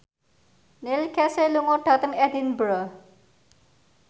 Neil Casey lunga dhateng Edinburgh